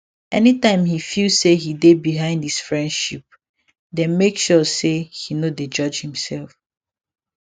anytime he feel say he dey behind his friendshe dey make sure say he no dey judge himself